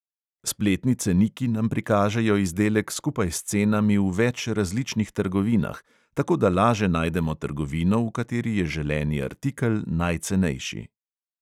Spletni ceniki nam prikažejo izdelek skupaj s cenami v več različnih trgovinah, tako da laže najdemo trgovino, v kateri je želeni artikel najcenejši.